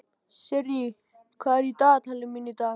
Sirrí, hvað er í dagatalinu mínu í dag?